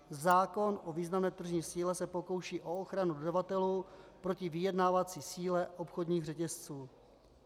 Zákon o významné tržní síle se pokouší o ochranu dodavatelů proti vyjednávací síle obchodních řetězců.